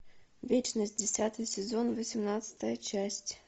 вечность десятый сезон восемнадцатая часть